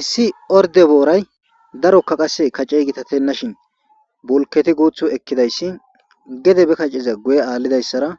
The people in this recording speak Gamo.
issi orde booray darokka qasse kace gitatenna shin bulketi guuthu ekkidayssi gede be kaciza guye aallidayssara